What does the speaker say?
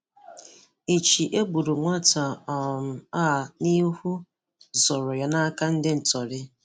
Ìchì ègbùrù nwátà um a n’ìhú zòrò ya n’ìhú zòrò ya n’áká onye ṅtọ̀rì